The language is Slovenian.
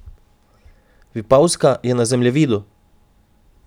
Vipavska je na zemljevidu!